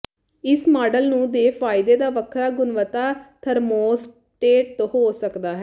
ਇਸ ਮਾਡਲ ਨੂੰ ਦੇ ਫਾਇਦੇ ਦਾ ਵੱਖਰਾ ਗੁਣਵੱਤਾ ਥਰਮੋਸਟੇਟ ਹੋ ਸਕਦਾ ਹੈ